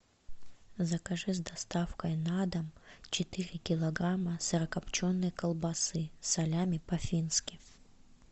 закажи с доставкой на дом четыре килограмма сырокопченой колбасы салями по фински